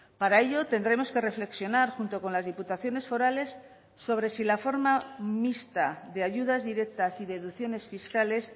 para ello tendremos que reflexionar junto con las diputaciones forales sobre si la forma mixta de ayudas directas y deducciones fiscales